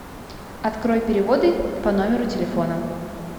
открой переводы по номеру телефона